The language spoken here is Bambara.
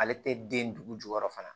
Ale tɛ den dugu jukɔrɔ fana